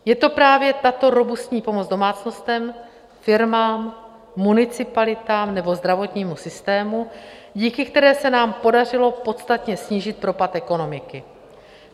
Je to právě tato robustní pomoc domácnostem, firmám, municipalitám nebo zdravotnímu systému, díky které se nám podařilo podstatně snížit propad ekonomiky.